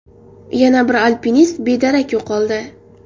Yana bir alpinist bedarak yo‘qoldi.